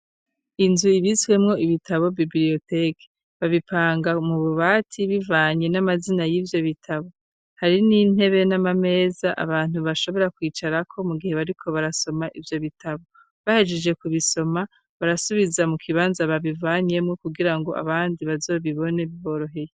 inzu ibtiswemwo ibitabo bibliyoteke babipanga mu bubati bivanye n'amazina y'ibyo bitabo hari n'intebe n'amameza abantu bashobora kwicara ko mu gihe bariko barasoma ibyo bitabo bahejeje ku bisoma barasubiza mu kibanza babivanyemo kugira ngo abandi bazo bibone biboroheye.